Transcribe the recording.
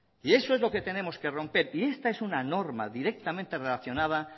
y eso es lo que tenemos que romper y esta es una normal directamente relacionada